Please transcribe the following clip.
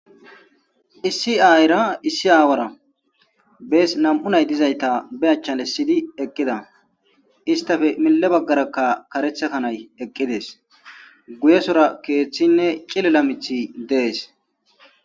Issi Ayera Issi Awara Bes Nam'u Nay dizayta Be Achan Essidi Eqida Izetape Mile bagaraka karetha kanay eqides guyesora kethine chililo mithi des